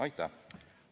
Aitäh!